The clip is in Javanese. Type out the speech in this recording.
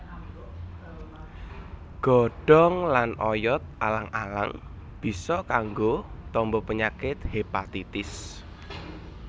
Godhong lan oyot alang alang bisa kanggo tamba penyakit hépatitis